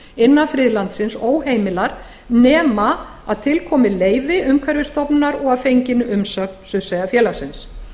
innan friðlandsins óheimilar nema til komi leyfi umhverfisstofnunar og að fenginni umsögn surtseyjarfélagsins